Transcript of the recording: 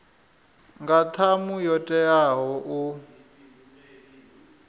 nga ṱhamu yo teaho u